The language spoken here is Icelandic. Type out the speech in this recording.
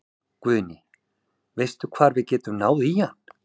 Guðný: Veistu hvar við getum náð í hann?